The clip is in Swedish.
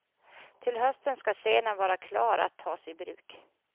Till hösten skall scenen vara klar att tas i bruk.